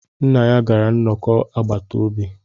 Nna ya gara nnọkọ agbata obi